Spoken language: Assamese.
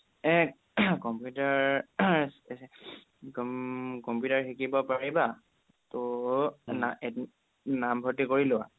computer ৰ computer ৰ শিকিব পাৰিবা ত' নামভৰ্তি কৰি লোৱা